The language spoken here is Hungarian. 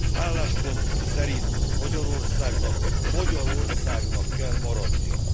Álláspontunk szerint Magyarországnak magyar országnak kell maradnia.